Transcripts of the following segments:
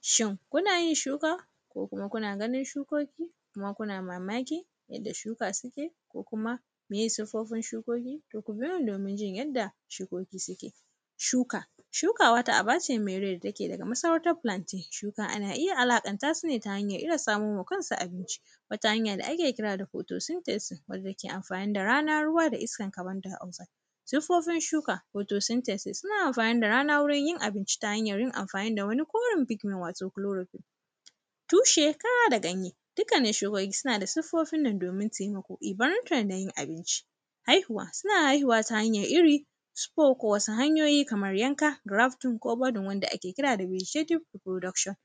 Shin, kuna yin shuka ko kuma kuna ganin shukoki, kuma kuna mamaki, yadda shuka sike da kuma yin siffofin shukoki? To, ku biyo ni domin jin yanda shukoki sike. Shuka, shuka wata aba ce me rai da take daga masarautar “Plantain”. Shukan, ana iya alaƙanta su ne ta hanyar iya samo ma kansu abinci, wata hanya da ake kira da “photosynthesis”, wanda ke amfani da rana, ruwa da iskan “carbondioxize”. Siffofin shuka, “phosynthesis”, suna amfani da rana wurin yin abinci, ta hanyar yin amfani da wani koren “fikkin” wato “chloroquine”. Tushe, kara da ganye, dkkanin shukoki, sina da siffofin nan domin temako ibarka na yin abinci. Haihuwa, sina haihuwa ta hanyar iri, “spor” ko wasu hanyoyi kamar yanka, “drafting” ko gwajin wanda ake kira da “burishetic production”.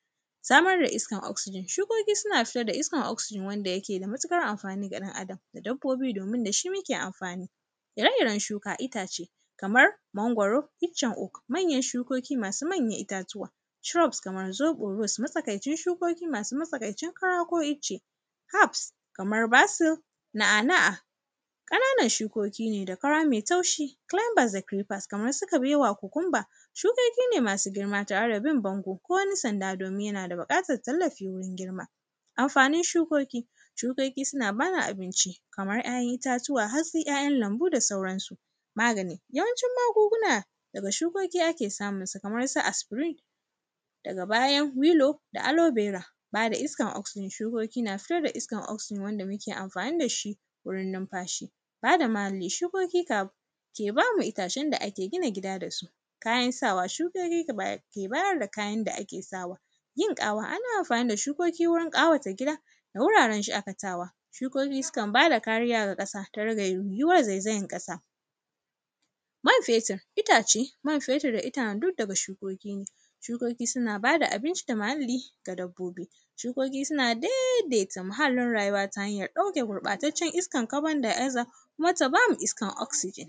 Samar da iskar “oxsegen”, shukoki suna fitar da iskar “oxsegen” wanda yake da matiƙar amfani ga ɗan Adam, da dabbobi, domin da shi muke amfani. Ire-iren shuka, itace, kamar mangoro, iccen uk; manyan shukoki masu mmanyan itatuwa. “Shrub” kamar zoƃo rus, matsakaicin shukoki masu matsakaicin kara ko ice. “Herbs”, kamar basir, na’a-na’a, ƙananan shukoki ne da kara me taushi. “Clanbazecukers”, kamar su kabewa, kukumba. Shukoki ne masu girma tare da bin bango ko wani sanda, kuma yana da biƙatar tallafi wurin girma. Amfanin shukoki, shukoki suna ba ni abinci, kamar ‘ya’yan itatuwa, hatsi, ‘ya’yan lambu da sauransu. Magani, yawanci magunguna daga shukoki ake samun su, kamar su “aspirin” daga bayan “milo” da “alobera”. Ba da iskar “oxsegen” shukoki na fitar da iskar “oxsegen” wanda muke amfani da shi wurin numfashi. Ba da muhalli, shukoki kab; ke ba mu itacen da ake gina gida da su. Kayan sawa, shukoki ka bayar; ke bayar da kayan da ake sawa. Yin ƙawa, ana amfani da shukoki wurin ƙawata gida, wuraren shakatawa. Shukoki sukan ba da kariya ga ƙasa, ta rage yiwuriway zaizayan ƙasa. Man fetir, itace, man fetir da itham duk daga shukoki ne. Shukoki suna ba da abinci da muhalli ga dabbobi. Shukoki suna dedeta muhallin rayuwa ta hanyar ɗauke gurƃataccen iskan “carbondioxide”, kuma ta ba mu iskan “oxsegen”.